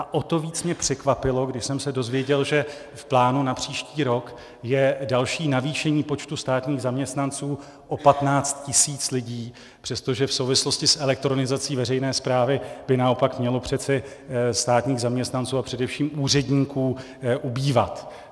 A o to víc mě překvapilo, když jsem se dozvěděl, že v plánu na příští rok je další navýšení počtu státních zaměstnanců o 15 tisíc lidí, přestože v souvislosti s elektronizací veřejné správy by naopak mělo přece státních zaměstnanců a především úředníků ubývat.